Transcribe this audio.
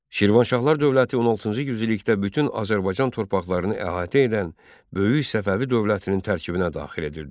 Şirvanşahlar dövləti 16-cı yüzillikdə bütün Azərbaycan torpaqlarını əhatə edən böyük Səfəvi dövlətinin tərkibinə daxil edildi.